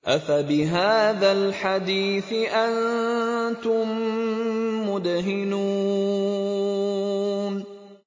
أَفَبِهَٰذَا الْحَدِيثِ أَنتُم مُّدْهِنُونَ